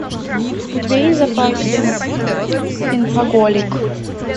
у тебя есть в запасе инфоголик